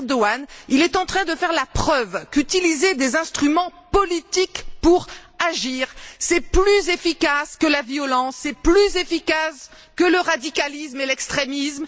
Erdogan est en train de faire la preuve qu'utiliser des instruments politiques pour agir est plus efficace que la violence et plus efficace que le radicalisme et l'extrémisme.